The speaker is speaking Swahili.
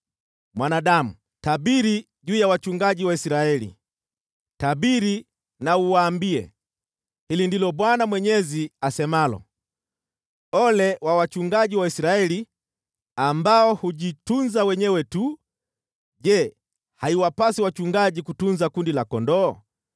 “Mwanadamu, tabiri juu ya wachungaji wa Israeli, tabiri na uwaambie: ‘Hili ndilo Bwana Mwenyezi asemalo: Ole wa wachungaji wa Israeli ambao hujitunza wenyewe tu! Je, haiwapasi wachungaji kutunza kundi la kondoo?